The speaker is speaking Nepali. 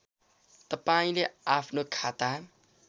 तपाईँले आफ्नो खाता